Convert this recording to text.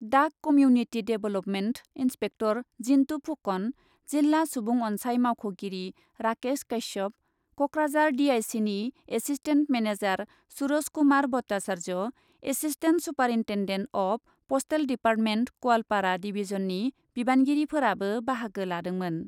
डाक community development inspector Jintu Phukan, जिल्ला सुबुं अनसाइ मावख'गिरि राकेश काश्यप, क'क्राझार डि आइ सिनि assistant manager Suraj Kumar Bhattacharya, assistant superintendent of postal department Goalpara डिभिजननि बिबानगिरिफोराबो बाहागो लादोंमोन।